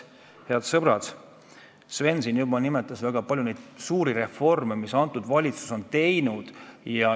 Head sõbrad, Sven juba nimetas siin väga palju suuri reforme, mida valitsus on teinud.